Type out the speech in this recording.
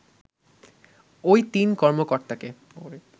ওই তিন কর্মকর্তাকে